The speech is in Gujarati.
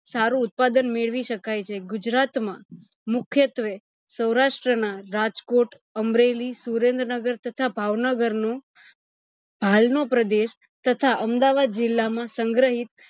સારું ઉત્પાદન મેળવી શકાય છે ગુજરાત માં મુખ્યતવે સૌરાષ્ટ્ર ના રાજકોટ, અમરેલી, સુરેન્દ્રનગર, તથા ભાવનગર નું ભાલ નો પ્રદેશ તથા અમદાવાદ જીલ્લા માં સંગ્રહિત